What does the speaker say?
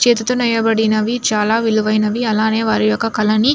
చేతితో నేయబడినవి చాలా విలువైనవి. అలానే వారి యొక్క కలనీ --